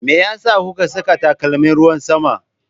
Me yasa kuka saka takalmin ruwan sama?